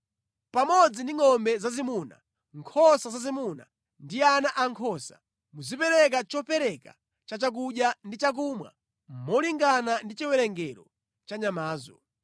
Pamodzi ndi ngʼombe zazimuna, nkhosa zazimuna ndi ana ankhosa, muzipereka chopereka cha chakudya ndi chakumwa molingana ndi chiwerengero cha nyamazo.